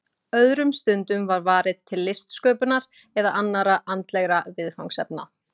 Öðrum stundum var varið til listsköpunar eða annarra andlegra viðfangsefna.